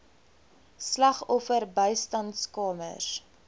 slagoffer bystandskamers